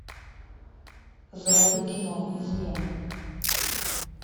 заводи кино измена